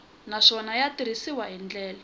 naswona ya tirhisiwile hi ndlela